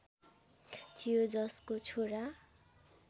थियो जसको छोरा